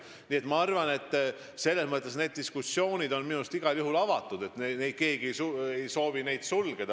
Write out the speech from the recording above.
Nii et selles mõttes on diskussioon minu meelest igal juhul avatud – keegi ei soovi seda sulgeda.